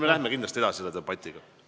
Me läheme kindlasti selle debatiga edasi.